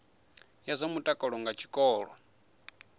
ya zwa mutakalo nga tshikolo